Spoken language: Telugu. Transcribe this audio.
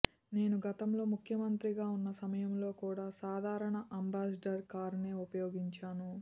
నేను గతంలో ముఖ్యమంత్రిగా ఉన్న సమయంలో కూడా సాధారణ అంబాసిడర్ కారునే ఉపయోగించాను